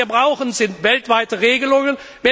Was wir brauchen, sind weltweite Regelungen.